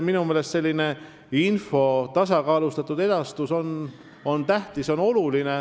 Minu meelest on info tasakaalustatud edastus tähtis.